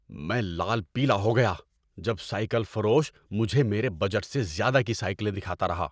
میں لال پیلا ہو گیا جب سائیکل فروش مجھے میرے بجٹ سے زیادہ کی سائیکلیں دکھاتا رہا۔